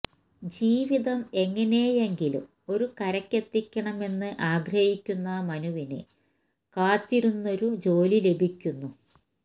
ജീവിതം എങ്ങനെയെങ്കിലും ഒരു കരയ്ക്കെത്തിക്കണമെന്ന് ആഗ്രഹിക്കുന്ന മനുവിന് കാത്തിരുന്നൊരു ജോലി ലഭിക്കുന്നു